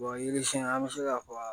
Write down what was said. yiri siɲɛ an bɛ se ka fɔ